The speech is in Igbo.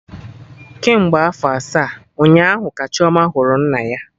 Kemgbe afọ asaa, ụnyaahụ ka Chioma hụrụ nna ya